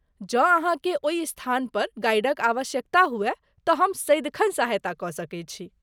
जँ अहाँकेँ ओहि स्थानपर गाइडक आवश्यकता हुअय तँ हम सदिखन सहायता कऽ सकैत छी।